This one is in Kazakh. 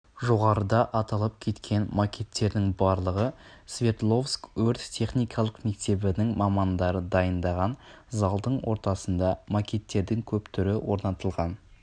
жоғарыда аталып кеткен макеттердің барлығы сверодловск өрт-техникалық мектебінің мамандары дайындаған залдың ортасында макеттердің көп түрі орнатылған